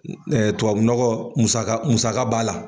tubabunɔgɔ musaka musaka b'a la